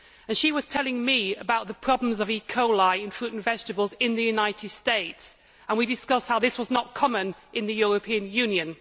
She was telling me about the problems of E coli in fruit and vegetables in the United States and we discussed how this was not common in the European Union.